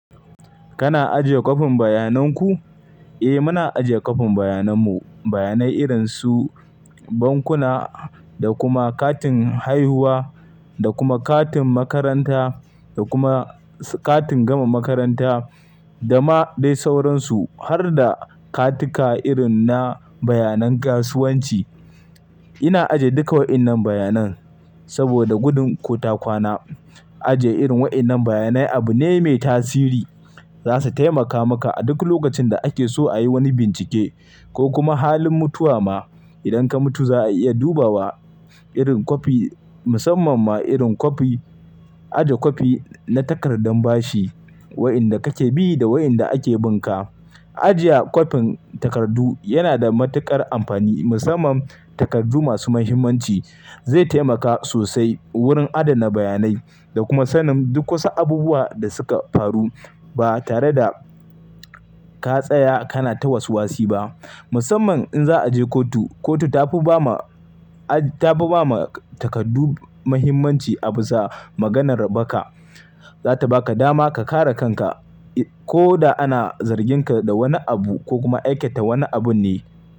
Kana ajiye kwafin bayanan ku? Eh, muna ajiye kwafin bayanan mu. Bayanai irin su bankuna da kuma katin haihuwa da kuma katin makaranta da kuma katin gama makaranta, dama dai sauransu har da katika irin na bayanan kasuwanci. Ina ajiye duka waɗannan bayanan saboda gudun ko takwana. Ajiye irin waɗannan bayanai abu ne mai tasiri. Za su taimaka maka a duk lokacin da ake so a yi wani bincike ko kuma halin mutuwa ma. Idan ka mutu, za a iya duba wa irin kwafi, musamman ma irin kwafi, ajiye kwafi na takardar bashi, waɗanda kake bi da waɗanda ake bin ka. Ajiye kwafin takardu yana da matuƙar amfani, musamman takardu masu muhimmanci. Zai taimaka sosai wurin adana bayanai da kuma sanin duk wasu abubuwa da suka faru ba tare da ka tsaya kana ta waswasi ba. Musamman in za a je kotu, kotu tafi ba ma, tafi ba ma takardu muhimmanci a bisa maganar baka. Za ta baka dama ka kare kanka ko da ana zargin ka da wani abu ko kuma aikata wani abun ne.